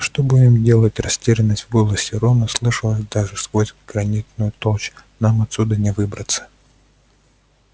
что будем делать растерянность в голосе рона слышалась даже сквозь гранитную толщу нам отсюда не выбраться